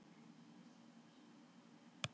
Þá er enska boltanum endanlega lokið.